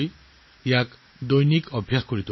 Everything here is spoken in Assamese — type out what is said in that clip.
আপোনালোকে নিয়মিতভাৱে যোগাসন কৰক